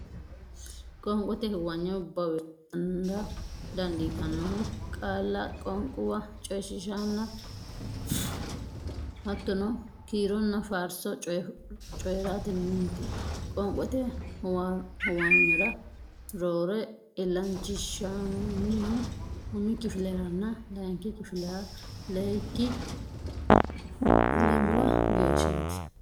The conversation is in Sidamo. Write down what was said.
Qoonqote huwanyo bowirtara dandiitannohu qaalla qoonquwa coyifooliishshonna hattono kiironna faarso coyi raatenniiti Qoonqote huwanyora roore illanchinshoonnihu umi kifileranna layinki kifilera leyikki lamala geeshshaati.